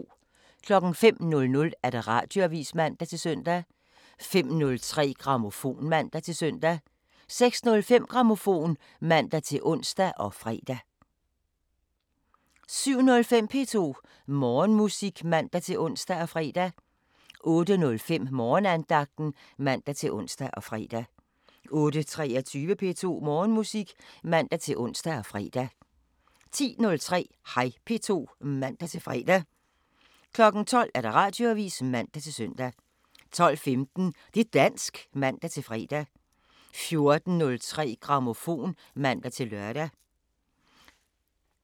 05:00: Radioavisen (man-søn) 05:03: Grammofon (man-søn) 06:05: Grammofon (man-ons og fre) 07:05: P2 Morgenmusik (man-ons og fre) 08:05: Morgenandagten (man-ons og fre) 08:23: P2 Morgenmusik (man-ons og fre) 10:03: Hej P2 (man-fre) 12:00: Radioavisen (man-søn) 12:15: Det' dansk (man-fre) 14:03: Grammofon (man-lør)